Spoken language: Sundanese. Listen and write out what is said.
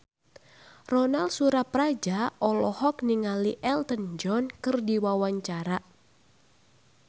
Ronal Surapradja olohok ningali Elton John keur diwawancara